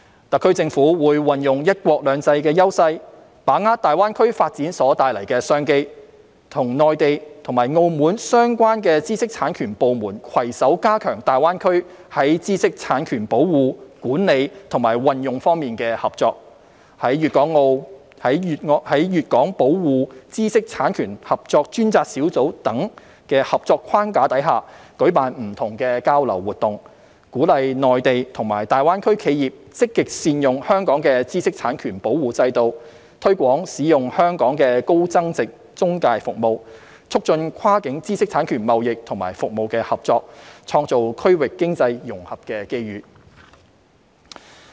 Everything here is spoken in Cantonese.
特區政府會運用"一國兩制"優勢，把握大灣區發展所帶來的商機，與內地和澳門相關知識產權部門攜手加強大灣區在知識產權保護、管理和運用方面的合作，在"粵港保護知識產權合作專責小組"等合作框架下，舉辦不同的交流活動，鼓勵內地及大灣區企業積極善用香港的知識產權保護制度，推廣使用香港的高增值中介服務，促進跨境知識產權貿易及服務的合作，創造區域經濟融合的機遇。